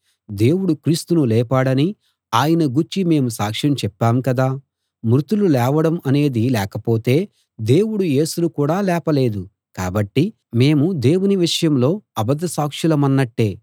దేవుడు క్రీస్తును లేపాడని ఆయన గూర్చి మేము సాక్ష్యం చెప్పాం కదా మృతులు లేవడం అనేది లేకపోతే దేవుడు యేసును కూడా లేపలేదు కాబట్టి మేము దేవుని విషయంలో అబద్ధ సాక్షులమన్నట్టే